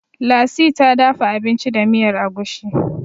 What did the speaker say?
lasi ta dafa abinci da miyar agushi